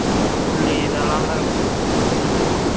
புல்லி இது எல்லாம் தான் இருக்கும், இருக்கும்